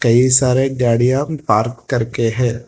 ये सारे गाड़ियां पार्क करके है।